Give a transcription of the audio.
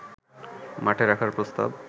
মাঠে রাখার প্রস্তাব